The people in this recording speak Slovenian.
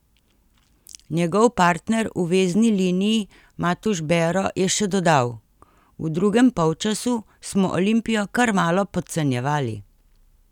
Njegov partner v vezni liniji Matuš Bero je še dodal: "V drugem polčasu smo Olimpijo kar malo podcenjevali.